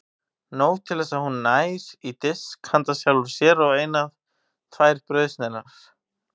Nóg til þess að hún nær í disk handa sjálfri sér og eina tvær brauðsneiðar.